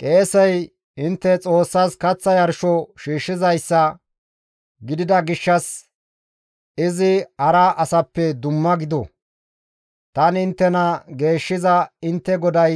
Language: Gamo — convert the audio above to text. qeesey intte Xoossas kaththa yarsho shiishshizayssa gidida gishshas izi hara asappe dumma gido; tani inttena geeshshiza intte GODAY